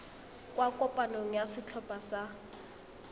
kwa kopanong ya setlhopha sa